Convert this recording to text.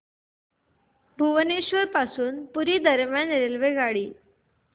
भुवनेश्वर पासून पुरी दरम्यान रेल्वेगाडी